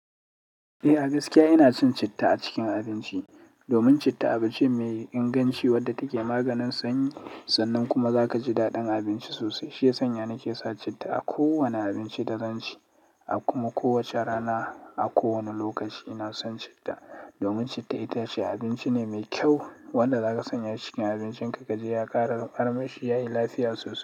Eh, a gaskiya ina cin citta a cikin abinci. Domin citta abinci ne mai inganci wadda take maganin sanyi, sannan kuma zaka ji daɗin abinci sosai. Shiya sanya nake sa citta a kowane abinci da zan ci. A kuma kowace rana, a kowane lokaci ina son citta. Domin citta itace abinci ne mai kyau wanda zaka sanya cikin abincinka kaje ya ƙara armashi yayi lafiya sosai.